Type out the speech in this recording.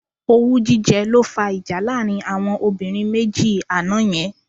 Owú jíjẹ ló fá ìjà láàrin àwọn obìnrin méjì àná yẹn.